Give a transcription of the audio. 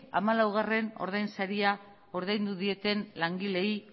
ea hamalaugarrena ordain saria ordaindu dieten langileei